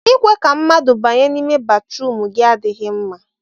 ịkwe ka mmadụ banye n'ime batrum gị adịghị mma